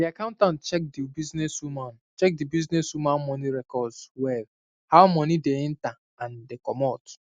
di accountant check the businesswoman check the businesswoman money records well how money dey enter and commot